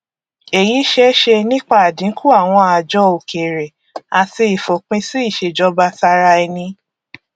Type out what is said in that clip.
èyí ṣeéṣe nípa àdínkù àwọn ààjọ òkèrè àti ìfòpinsí ìṣèjọbataraẹni